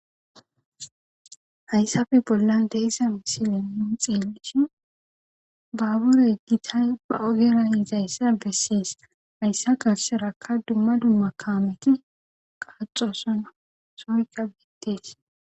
HayssaPe bollan deissa misilen nun xiillishi baabura yeggitay ba oheran izayssa bessees hayssa gasserakka dumma dumma kaameti qaaxosona soykka biittees.